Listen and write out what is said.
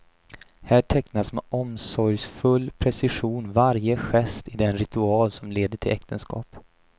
Här tecknas med omsorgsfull precision varje gest i den ritual som leder till äktenskap.